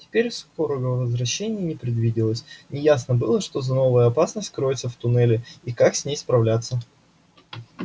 теперь скорого возвращения не предвиделось неясно было что за новая опасность кроется в туннеле и как с ней справляться